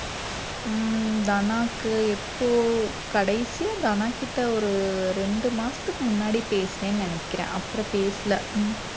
உம் தனாக்கு எப்போ கடைசியா தனாக்கிட்ட ஒரு இரண்டு மாசத்துக்கு முன்னாடி பேசுனேன்னு நினைக்கிறேன் அப்புறம் பேசல ஹம்